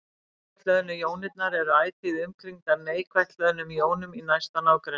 Jákvætt hlöðnu jónirnar eru ætíð umkringdar neikvætt hlöðnum jónum í næsta nágrenni.